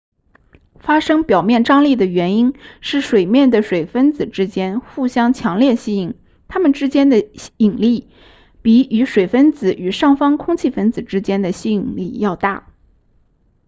发生表面张力的原因是水面的水分子之间互相强烈吸引它们之间的引力比与水分子与上方空气分子之间的吸引力要大